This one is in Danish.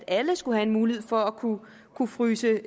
alle skal have en mulighed for at kunne kunne fryse